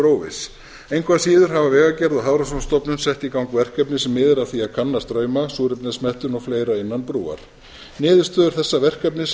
óviss engu að síður hafa vegagerð og hafrannsóknastofnun sett í gang verkefni sem miðar að því að kanna strauma súrefnismettun og fleira innan brúar niðurstöður þessa verkefnis